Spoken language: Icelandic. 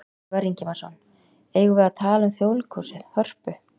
Ívar Ingimarsson: Eigum við að tala um Þjóðleikhúsið, Hörpu?